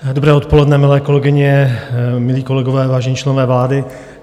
Dobré odpoledne, milé kolegyně, milí kolegové, vážení členové vlády.